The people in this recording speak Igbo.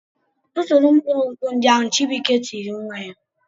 "Tụtụrụ mkpụrụ nkwụ ndị ahụ!" Chibuike tiri nwa ya.